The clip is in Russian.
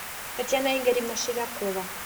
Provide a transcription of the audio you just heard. татьяна игоревна шевякова